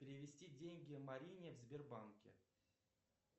перевести деньги марине в сбербанке